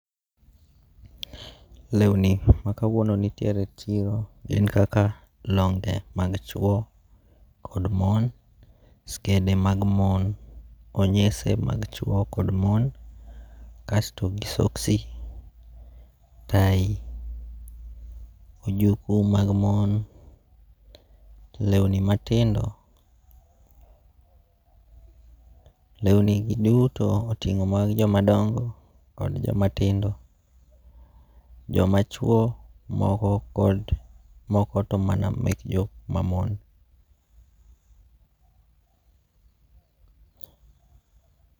Lewni makauwunoni nitiere e chiro gin kaka longe' mag chuo, kod mon, skede mag mon, onyese mag chuo kod mon kasto gi soksi, tai ,ojuko mag mon, lewni matindo, lewni gi duto otingo' mag jomadogo kod jomatindo, jamachuo moko kod moko to moko to mana mek joma mon.